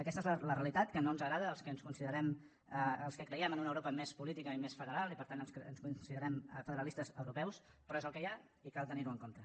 aquesta és la realitat que no ens agrada als que creiem en una europa més política i més federal i per tant ens considerem federalistes europeus però és el que hi ha i cal tenir ho en compte